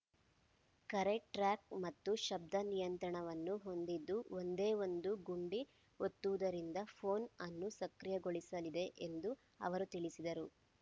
ಕರೆ ಟ್ರ್ಯಾಕ್ ಮತ್ತು ಶಬ್ದ ನಿಯಂತ್ರಣವನ್ನು ಹೊಂದಿದ್ದು ಒಂದೇ ಒಂದು ಗುಂಡಿ ಒತ್ತುವುದರಿಂದ ಪೋನ್ ಅನ್ನು ಸಕ್ರಿಯಗೊಳಿಸಲಿದೆ ಎಂದು ಅವರು ತಿಳಿಸಿದರು